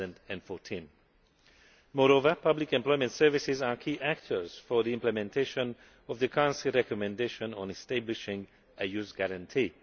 2014. Moreover, public employment services are key actors for the implementation of the Council recommendation on establishing a Youth Guarantee.